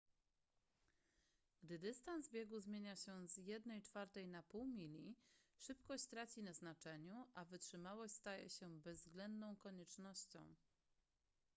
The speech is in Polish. gdy dystans biegu zmienia się z jednej czwartej na pół mili szybkość traci na znaczeniu a wytrzymałość staje się bezwzględną koniecznością